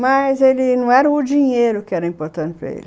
Mas, ele... não era o dinheiro que era importante para ele.